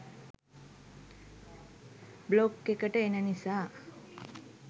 blog එකට එන නිසා